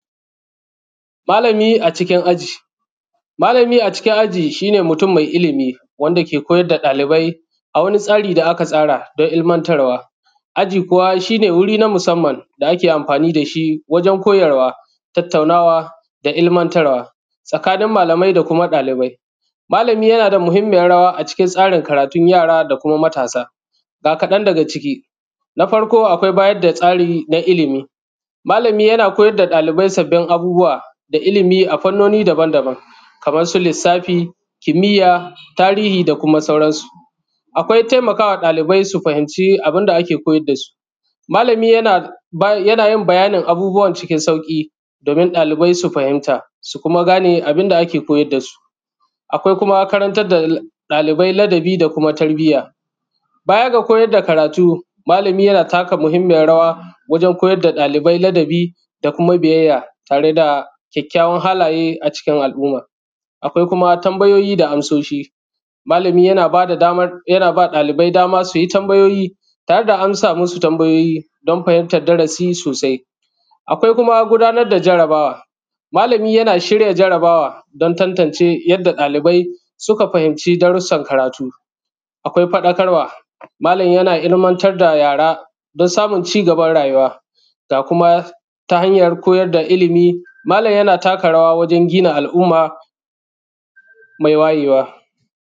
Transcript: malami a cikin aji malami a cikin aji shine mutum mai ilimi wanda yake koyar da ɗalibai a wani tsari da aka tsara don ilmantarwa aji kuwa shine wuri na musaman da ake amfani da shi wajen koyarwa tataunawa da ilmantarwa tsakanin malamai da kuma ɗalibai malami yana da muhimmijan rawa a cikin tsarin karatun yara da kuma matasa ga kaɗan daga ciki na farko akwai bayar da tsari na ilimi malami yana koyar da dalibai sabin abubuwa da ilimi a fanoni daban daban kaman su lissafi kimiya da tarihi da kuma sauran su akwai taimakawa ɗalibai su fahimci abun da ake koyar da su malami yanayin bayanin abubuwan cikin sauƙi domin ɗalibai su fahimta su kuma gane abun da ake koyar da su akwai kuma karantar da ɗalibai ladabi da kuma tarbiya baja da koyar da karatu malami yana taka muhimmiyan rawa wajen koyar da ɗalibai ladabi da kuma biyaya tare da kyakykyawan halaye a cikin aluma akwai kuma tambayoyi da amsoshi malami yana ba da damar yana ba ɗalibai dama su yi tambayoyi tare da amsa masu tambayoyi don fahimtar darasi sosai akwai kuma gudanar da jarabawa malami yana shirya jarabawa don tantance yanda ɗalibai suka fahimci darusan karatu akwai faɗakarwa malam yana ilmantar da yara don samun cigaban rayuwa da kuma ta hanyar koyar da ilimi malam yana taka rawa wajen gina al’umma mai wayewa.